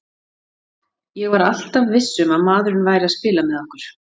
Ég var alltaf viss um að maðurinn væri að spila með okkur.